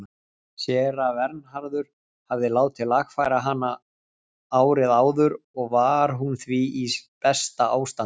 Séra Vernharður hafði látið lagfæra hana árið áður og var hún því í besta ástandi.